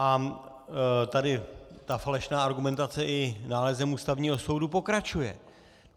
A tady ta falešná argumentace i nálezem Ústavního soudu pokračuje.